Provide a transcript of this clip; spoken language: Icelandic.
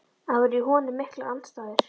Að það voru í honum miklar andstæður.